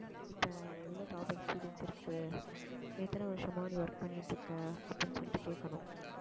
இப்ப எவ்வளவு top experience இருக்கு எத்தனை வருஷமா நீ work பண்ணிட்டு இருக்க அப்படின்னு சொல்லிட்டு கேட்கணும்